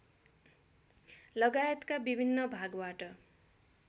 लगायतका विभिन्न भागबाट